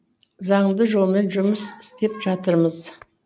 заңды жолмен жұмыс істеп жатырмыз